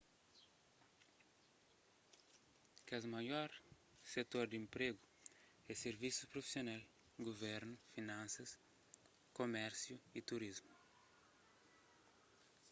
kes maior setor di enpregu é sirvisus prufisional guvernu finansas kumérsiu y turismu